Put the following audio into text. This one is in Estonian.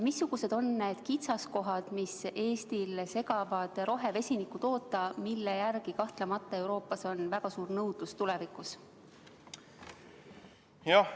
Missugused on need kitsaskohad, mis Eestil segavad toota rohevesinikku, mille järele kahtlemata on tulevikus Euroopas väga suur nõudlus?